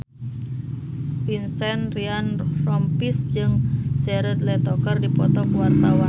Vincent Ryan Rompies jeung Jared Leto keur dipoto ku wartawan